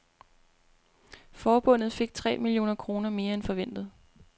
Forbundet fik tre millioner kroner mere end forventet.